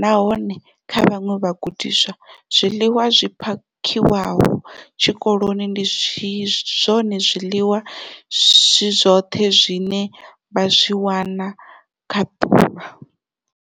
nahone kha vhaṅwe vhagudiswa, zwiḽiwa zwi phakhiwaho tshikoloni ndi zwone zwiḽiwa zwi zwoṱhe zwine vha zwi wana kha ḓuvha.